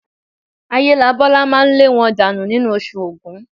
Ayélabọ́lá máa lé wọn dànù nínú Oṣù Ògún